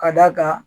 Ka d'a kan